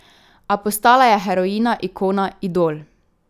A postala je heroina, ikona, idol.